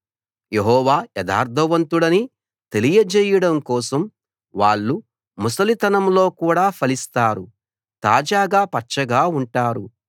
యెహోవా యథార్థవంతుడని తెలియచేయడం కోసం వాళ్ళు ముసలితనంలో కూడా ఫలిస్తారు తాజాగా పచ్చగా ఉంటారు